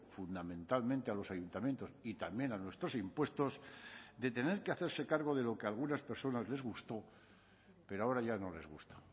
fundamentalmente a los ayuntamientos y también a nuestros impuestos de tener que hacerse cargo de lo que algunas personas les gustó pero ahora ya no les gusta